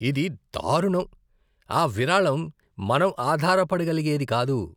ఇది దారుణం! ఆ విరాళం మనం ఆధారపడగలిగేది కాదు.